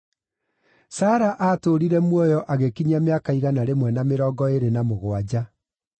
Sara aatũũrire muoyo agĩkinyia mĩaka igana rĩmwe na mĩrongo ĩĩrĩ na mũgwanja.